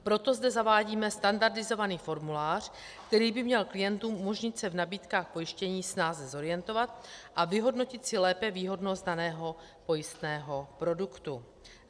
Proto zde zavádíme standardizovaný formulář, který by měl klientům umožnit se v nabídkách pojištění snáze zorientovat a vyhodnotit si lépe výhodnost daného pojistného produktu.